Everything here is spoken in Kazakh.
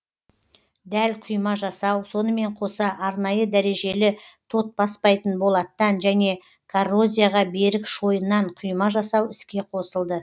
дәл құйма жасау сонымен қоса арнайы дәрежелі тот баспайтын болаттан және коррозияға берік шойыннан құйма жасау іске қосылды